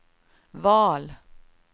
val